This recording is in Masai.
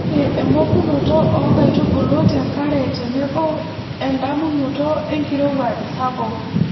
ore emokunoto oo nkaitubulu te nkare tenebo edamunoto enkirowuaj sapuk.